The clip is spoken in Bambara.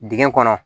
Dingɛ kɔnɔ